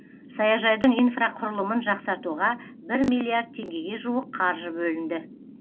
саяжайдың инфрақұрылымын жақсартуға бір миллиард теңгеге жуық қаржы бөлінді